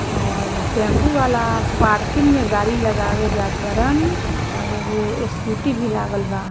और टेम्पू वाला पार्किंग में गाडी लगावे जात बारन और एगो स्कूटी भी लागल बा।